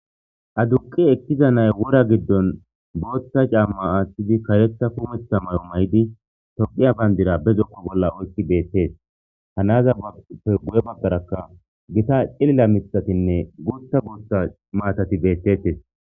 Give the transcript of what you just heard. aduqi ektiza nay wora giddon booththa caamma aathidi karetha kumetha mayo may7di tophiya bayndira be zokku bolla oykki beettees hanaza pegu7e baggarakka gita cilila mithatinne guutta guota maatati beettettes